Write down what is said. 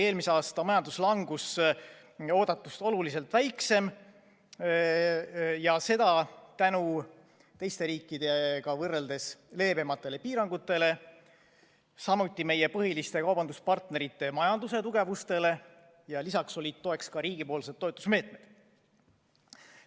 Eelmise aasta majanduslangus oli eeldatust oluliselt väiksem ja seda tänu teiste riikidega võrreldes leebematele piirangutele, samuti tänu meie põhiliste kaubanduspartnerite majanduse tugevusele ja lisaks olid abiks ka riigi toetusmeetmed.